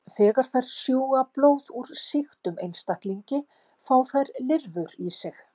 Þegar þær sjúga blóð úr sýktum einstaklingi fá þær lirfur í sig.